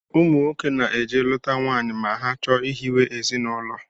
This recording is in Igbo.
Ụmụnwoke na-eje lụta nwaanyị ma ha chọọ ihiwe ezinụlọ